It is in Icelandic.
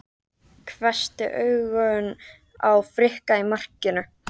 Hvessti augun á Frikka í markinu.